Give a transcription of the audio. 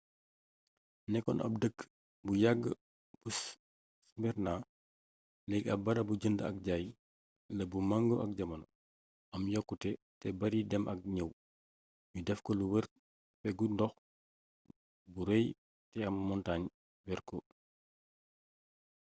nekkoon ab dëkk bu yàgg bu smyrna leegi am barabu jënd ak jaay la bu mengoo ak jamono am yokkute te bar idem ak ñëw nu def ko mu wër peggu ndoox bu rëy te ay montaañ wër ko